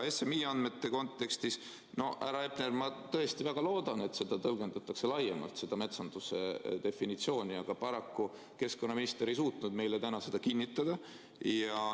SMI andmete kontekstis, härra Hepner, ma tõesti väga loodan, et seda metsanduse definitsiooni tõlgendatakse laiemalt, aga paraku keskkonnaminister ei suutnud meile täna seda kinnitada.